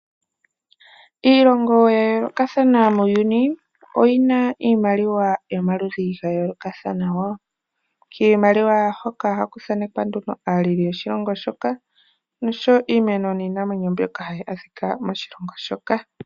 Iilongo ya yoolokathana muuyuni ohayi kala yina iimaliwa yayoolokathana. Kiimaliwa hoka ohaku kala kwathanekwa aaleli yoshilongo shoka noshoowo iimeno niinamwenyo ndyoka hayi adhika moshilongo shoka.